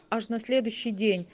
аж на следующей